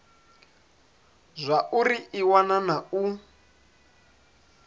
zwauri i wana na u